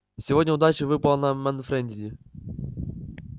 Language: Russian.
сегодня удача выпала на манфредини